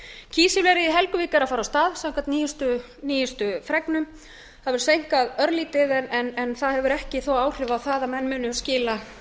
kísilverið í helguvík er að fara af stað samkvæmt nýjustu fregnum það hefur seinkað örlítið en það hefur ekki þó áhrif á það að